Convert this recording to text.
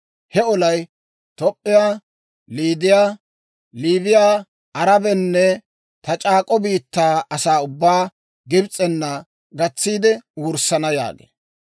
He olay Toop'p'iyaa, Liidiyaa, Liibiyaa, Arabaanne ta c'aak'k'o biittaa asaa ubbaa Gibs'ena gatsiide wurssana» yaagee.